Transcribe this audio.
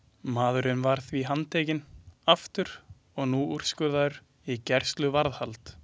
Maðurinn var því handtekinn aftur og nú úrskurðaður í gæsluvarðhald.